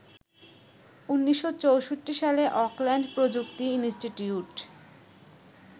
১৯৬৪ সালে অকল্যান্ড প্রযুক্তি ইন্সটিটিউট